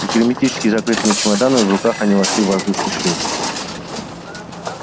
с герметически закрытыми чемоданами в руках они вошли в воздушный шлюз